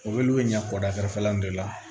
O bɛ olu bɛ ɲɛ kɔda kɛrɛfɛlaw de la